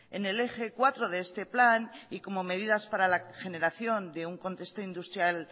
en el eje cuatro de este plan y como medidas para la generación de un contexto industrial